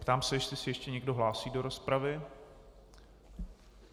Ptám se, jestli se ještě někdo hlásí do rozpravy.